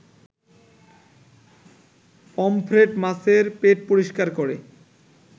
pomfret মাছের পেট পরিষ্কার করে